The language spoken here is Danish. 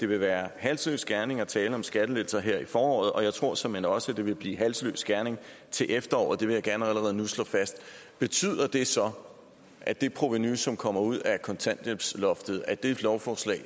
været halsløs gerning at tale om skattelettelser her i foråret og jeg tror såmænd også at det bliver halsløs gerning til efteråret vil jeg gerne allerede nu slå fast betyder det så at det provenu som kommer ud af kontanthjælpsloftet af det lovforslag